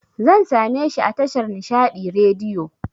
Zan sameshi a tashar Nishaɗi Radiyo